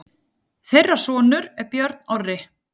Þeirra sonur er Björn Orri.